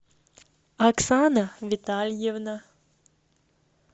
оксана витальевна